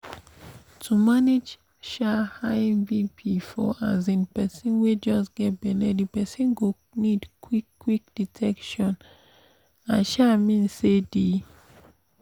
to manage um high bp for um persin wey just get belle the persin go need qik qik detection i um mean say the pause